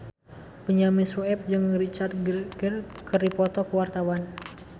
Benyamin Sueb jeung Richard Gere keur dipoto ku wartawan